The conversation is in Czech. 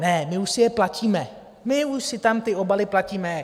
Ne, my už si je platíme, my už si tam ty obaly platíme.